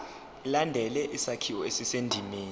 ilandele isakhiwo esisendimeni